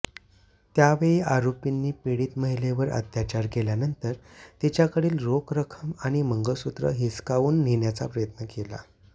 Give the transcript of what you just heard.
त्यावेळी आरोपींनी पीडित महिलेवर अत्याचार केल्यानंतर तिच्याकडील रोख रक्कम आणि मंगळसूत्र हिसकावून नेण्याचा प्रयत्न केला